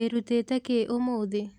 wĩrutĩte kĩ ũmũthĩ.